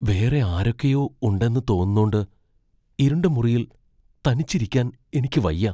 വേറെ ആരൊക്കെയോ ഉണ്ടെന്ന് തോന്നുന്നോണ്ട് ഇരുണ്ട മുറിയിൽ തനിച്ചിരിക്കാൻ എനിക്ക് വയ്യ.